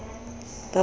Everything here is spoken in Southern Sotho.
ka bowena o be o